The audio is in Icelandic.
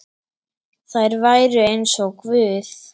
Þær væru eins og guð.